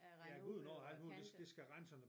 Ja æ Gudenå og alt mulig det det skal rense nogle